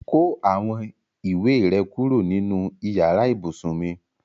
Ko awon iwe re kuro ninu iyare ibusun mi